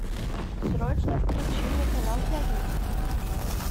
срочно включи мне канал пятница